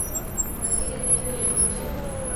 затерянные миры включай